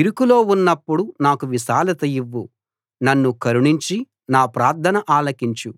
ఇరుకులో ఉన్నప్పుడు నాకు విశాలత ఇవ్వు నన్ను కరుణించి నా ప్రార్థన ఆలకించు